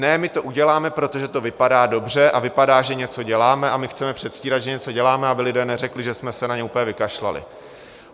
Ne, my to uděláme, protože to vypadá dobře a vypadá, že něco děláme, a my chceme předstírat, že něco děláme, aby lidé neřekli, že jsme se na ně úplně vykašlali.